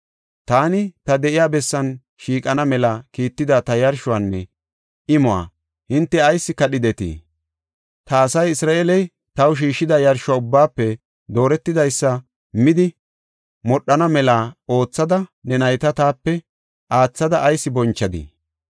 Taani ta de7iya bessan shiiqana mela kiitida ta yarshuwanne imuwa hinte ayis kadhidetii? Ta asa Isra7eele, taw shiishida yarsho ubbaafe dooretidaysa midi modhana mela oothada ne nayta taape aathada ayis bonchadii?’